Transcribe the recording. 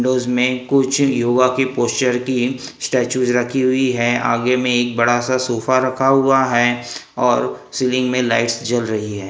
Dose में कुछ योगा की पोस्चर की स्टेचूज रखी हुई है आगे में एक बड़ा सा सोफा रखा हुआ है और सीलिंग में लाइट्स जल रही है।